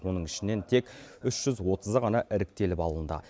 оның ішінен тек үш жүз отызы ғана іріктеліп алынды